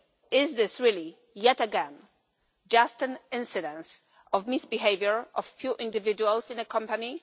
Is this really, yet again, just an incidence of misbehaviour by a few individuals in a company?